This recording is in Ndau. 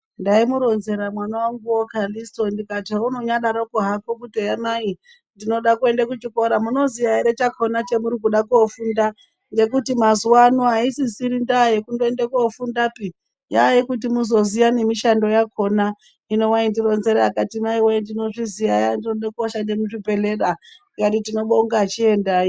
Ndaimuronzera mwana wanguwo Calisto ndikati haunonyadaroko hako kuti eya mai ndinoda kuende kuchikora munoziya ere chakona chamurikuda kofunda ngekuti mazuvano aisisiri ndaa yekundoende kofundapi yayekuti muzoziya nemishando yakona hino waindironzera akati maiwe ndinozviziya eya ndinode koshanda muzvibhedhleya ndikati tinobonga chiendai.